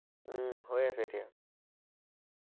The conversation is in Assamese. উম হৈ আছে এতিয়া